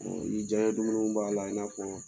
ni diyan dumuniw b'a la i n'a fɔ